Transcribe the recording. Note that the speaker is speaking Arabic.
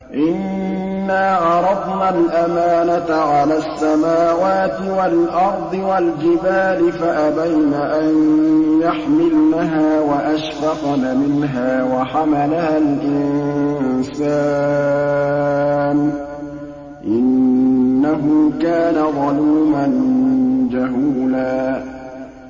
إِنَّا عَرَضْنَا الْأَمَانَةَ عَلَى السَّمَاوَاتِ وَالْأَرْضِ وَالْجِبَالِ فَأَبَيْنَ أَن يَحْمِلْنَهَا وَأَشْفَقْنَ مِنْهَا وَحَمَلَهَا الْإِنسَانُ ۖ إِنَّهُ كَانَ ظَلُومًا جَهُولًا